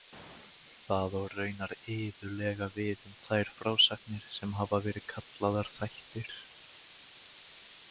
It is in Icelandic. Það á raunar iðulega við um þær frásagnir sem hafa verið kallaðar þættir.